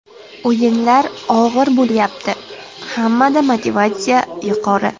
O‘yinlar og‘ir bo‘lyapti, hammada motivatsiya yuqori.